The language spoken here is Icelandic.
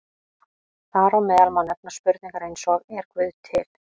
Þar á meðal má nefna spurningar eins og Er Guð til?